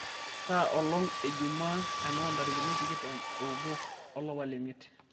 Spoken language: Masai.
kaa olong' ejuma enoontarikini tikitam oobo olapa lemiet